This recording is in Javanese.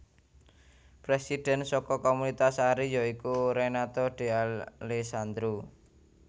Presidhen saka Komunitas Ari ya iku Renato De Alessandro